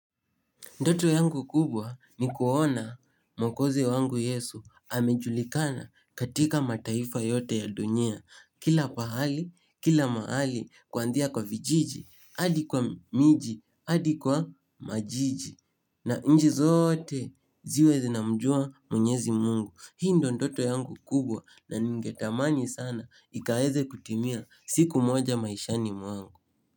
Ndoto yangu kubwa ni kuona mwkozi wangu yesu hamejulikana katika mataifa yote ya dunia. Kila pahali, kila mahali, kuanzia kwa vijiji, adi kwa miji, adi kwa majiji. Na nji zote ziwe zinamjua mwenyezi mungu. Hii ndo ndoto yangu kubwa na ningetamani sana ikaweze kutimia siku moja maishani mwangu.